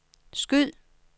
skyd